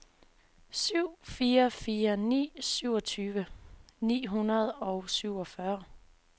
syv fire fire ni syvogtyve ni hundrede og syvogfyrre